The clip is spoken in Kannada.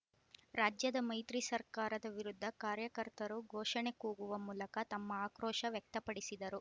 ರಾಜ್ಯದ ಮೈತ್ರಿ ಸರ್ಕಾರದ ವಿರುದ್ಧ ಕಾರ್ಯಕರ್ತರು ಘೋಷಣೆ ಕೂಗುವ ಮೂಲಕ ತಮ್ಮ ಆಕ್ರೋಶ ವ್ಯಕ್ತಪಡಿಸಿದರು